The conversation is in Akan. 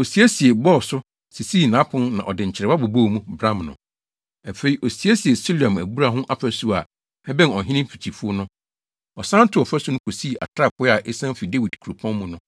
Osiesiee, bɔɔ so, sisii nʼapon na ɔde nkyerewa bobɔɔ mu, bram no. Afei, osiesiee Siloam abura ho fasu a ɛbɛn ɔhene mfikyifuw no. Ɔsan too ɔfasu no kosii atrapoe a esian fi Dawid kuropɔn mu no.